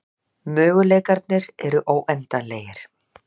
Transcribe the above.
Möguleikarnir eru óendanlegir